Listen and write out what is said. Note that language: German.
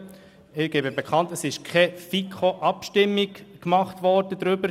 Ich gebe bekannt, dass keine FiKoAbstimmung durchgeführt worden ist.